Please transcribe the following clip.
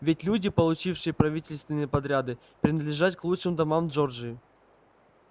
ведь люди получившие правительственные подряды принадлежат к лучшим домам джорджии